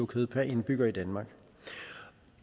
kød per indbygger i danmark